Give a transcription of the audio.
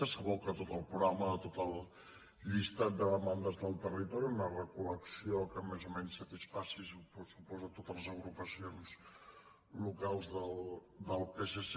s’aboca tot el programa de tot el llistat de demandes del territori una recol·lecció que més o menys satisfaci suposo totes les agrupacions locals del psc